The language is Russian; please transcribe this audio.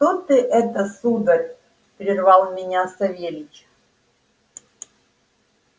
что ты это сударь прервал меня савельич